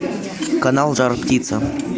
канал жар птица